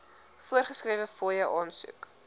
voorgeskrewe fooie aansoek